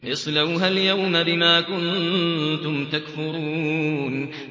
اصْلَوْهَا الْيَوْمَ بِمَا كُنتُمْ تَكْفُرُونَ